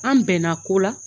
An bɛnna ko la